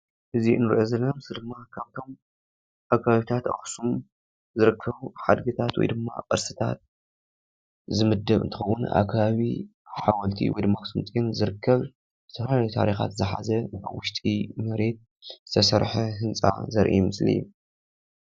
እዚ እንሪኦ ዘለና ምስሊ ድማ ካብቶሞ ኣብ ከባቢታት ኣክሱም ዝርከቡ ሓድግታት ወይ ቅርስታት ዝምደብ እንትኸዉን ኣብ ከባቢ ሓወልቲ ወይ ድማ ኣክሱም ፅዮን ዝርከብ ዝተፋላለዩ ታርካት ዝሓዘ ኣብ ዉሽጢ መሬት ዝተሰረሐ ህንፃ ዝርአ ምስሊ እዩ፡፡